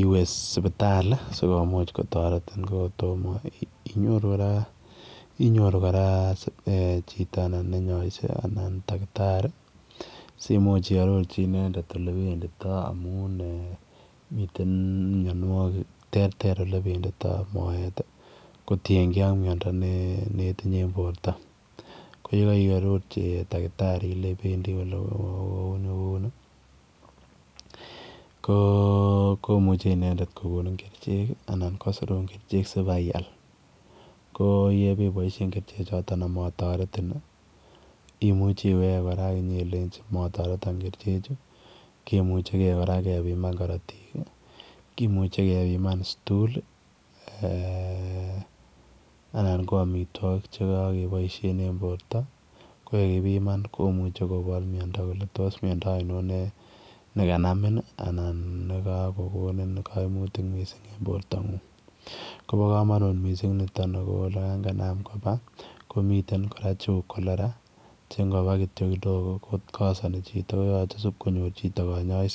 iweeh sipitali ko kotamah inyoruu kora chitoo ne nyaisee anan dakitari ii simuuch kora ii arorjii amuun mitten mianwagiik terter ole benditoi moet ii kotienkei ak miando nemii borto ko ye kaiarorjii dakitari kole bendii ku ni ako kou nii komuchei inendet kogonin kercheek ii anan kosiruun kercheek sibai iyaal ko ye be baisheen kercheek chotoon ama taretii imuche iwege kora akinyelenjii mataretaan kercheek chuu kemuche kora kebimaan karotiik ii kimuchei kebimaan eeh [stool] ii anan ko amitwagik chekakebaisheen en borto ko yekipimaan kimuchei kenai kole tos miando ainon nekanamiin ii anan nekakokonin kaimutiik missing en borto nguung ako olaan kanam kobaa komi teen kora che uu [cholera] che Ingo AA kidogo ko kasani chitoo koyache konyoor chitoo kanyaiset.